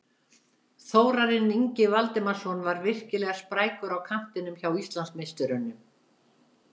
Þórarinn Ingi Valdimarsson var virkilega sprækur á kantinum hjá Íslandsmeisturunum.